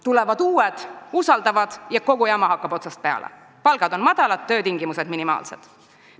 Tulevad uued sama usaldavad inimesed ja kogu jama hakkab otsast peale – palgad on madalad, töötingimused minimaalsed.